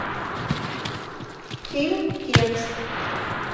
фильм текст